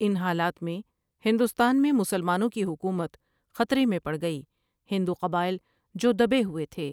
ان حالات میں ہدوستان میں مسلمانوں کی حکومت خطرے میں پڑ گٸی ہندوقباٸل جو دبے ہوٸے تھے ۔